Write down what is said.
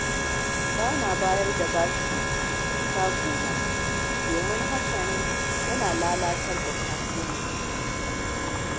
Ba na bayar da bashi a shagunana domin hakan yana lalata kasuwanci.